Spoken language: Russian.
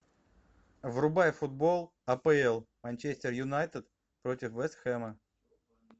врубай футбол апл манчестер юнайтед против вест хэма